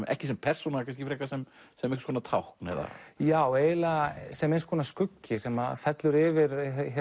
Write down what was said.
ekki sem persóna kannski frekar sem einhvers konar tákn já eiginlega sem eins konar skuggi sem fellur yfir